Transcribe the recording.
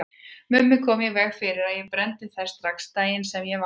Mummi kom í veg fyrir að ég brenndi þær strax daginn sem ég vaknaði.